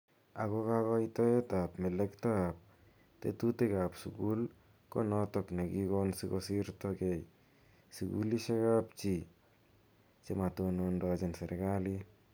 Ako kakoitoiet ab melekto ak tetutik ab sukul ko notok ne kikon siko sirta kei sukulishi ap chii chematonondochin serikalit.